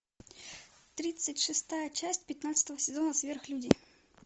тридцать шестая часть пятнадцатого сезона сверхлюди